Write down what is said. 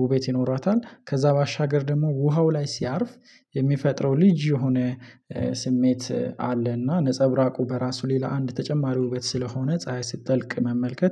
ውበት ይኖራታል። ከዛ ባሻገር ደግሞ ውሃው ላይ ሲያርፍ የሚፈጥረው ልዩ የሆነ ስሜት አለ። እና ነፀብራቁ በራሱ ሌላ አንድ ተጨማሪ ውበት ስለሆነ ፀሀይ ስትጠልቅ መመልከት